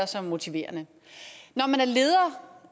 som motiverende når man er leder